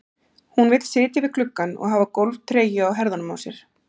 Hún vill sitja við gluggann og hafa golftreyju á herðunum á sér.